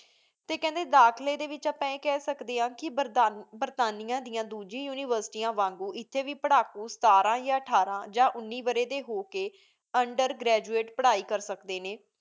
T ਖੰਡੀ ਦਾਖਲੀ ਡੀ ਵੇਚ ਆਪਾਂ ਆਯ ਖ ਸ੍ਖ੍ਡੀ ਆਂ ਕੀ ਬੇਰ੍ਤਾਨੇਯਨ ਦਯਾਨ ਦੋਜੇਆਯਨ ਉਨਿਵੇਸ੍ਤੇਯਾਂ ਬਣਾਓ ਏਥੀ ਵੇ ਸਤਰੰ ਯਾ ਅਥਾਰਿ ਉਨੀ ਵਾਰੀ ਡੀ ਹੂ ਕੀ Under graduate ਪੇਰਹਿ ਕਰ ਸਕਦੀ ਆਂ ਨੀ